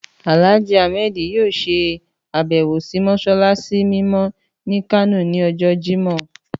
Àlájì Ahmed yóò ṣe àbẹ́wò sì mọ́ṣáláṣí mímọ́ ni Kano ni ọjọ́ Jimọh.